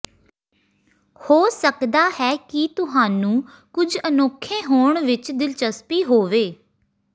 ਹੋ ਸਕਦਾ ਹੈ ਕਿ ਤੁਹਾਨੂੰ ਕੁਝ ਅਨੋਖੇ ਹੋਣ ਵਿਚ ਦਿਲਚਸਪੀ ਹੋਵੇ